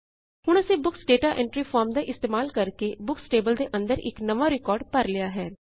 ਹੁਣ ਅਸੀਂ books data entry form ਦਾ ਇਸਤੇਮਾਲ ਕਰਕੇ ਬੁਕਸ ਟੇਬਲ ਦੇ ਅੰਦਰ ਇਕ ਨਵਾਂ ਰਿਕਾਰਡ ਭਰ ਲਿਆ ਹੈ